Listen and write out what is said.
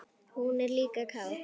Hún er líka kát.